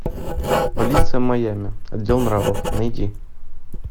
полиция майами отдел нравов найди